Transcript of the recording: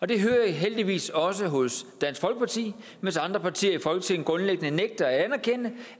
det hører jeg heldigvis også hos dansk folkeparti mens andre partier i folketinget grundlæggende nægter at anerkende